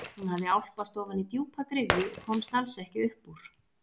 Hún hafði álpast ofan í djúpa gryfju og komst alls ekki upp úr.